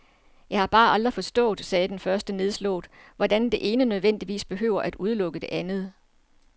Jeg har bare aldrig forstået, sagde den første nedslået, hvorfor det ene nødvendigvis behøver at udelukke det andet.